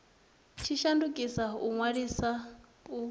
tshi shandukisa u ṅwaliswa u